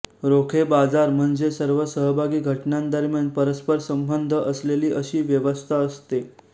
रोखे बाजार म्हणजे सर्व सहभागी घटकांदरम्यान परस्परसंबंध असलेली अशी व्यवस्था असते